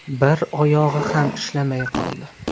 Bir oyog‘i ham ishlamay qoldi.